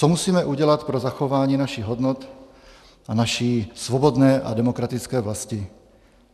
Co musíme udělat pro zachování našich hodnot a naší svobodné a demokratické vlasti?